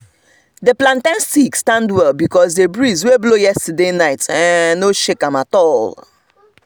the plantain stick stand well because the breeze wey blow yesterday night um no shake am at all all